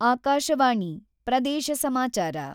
ಆಕಾಶವಾಣಿ ಪ್ರದೇಶ ಸಮಾಚಾರ <><><>